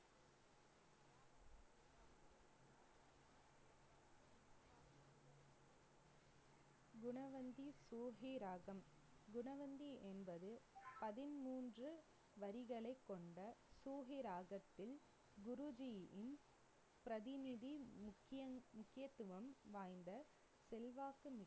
குணவந்தி குணவந்தி என்பது பதிமூன்று வரிகளைக் கொண்ட குருஜியின் பிரதிநிதி முக்கியன்~ முக்கியத்துவம் வாய்ந்த செல்வாக்கு மிக்க